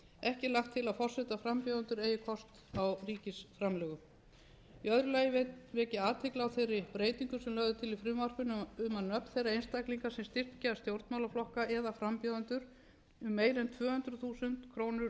ekki er lagt til að forsetaframbjóðendur eigi kost á ríkisframlögum í öðru lagi vek ég athygli á þeirri breytingu sem lögð er til í frumvarpinu um að nöfn þeirra einstaklinga sem styrkja stjórnmálaflokka eða frambjóðendur um meira en tvö hundruð þúsund krónur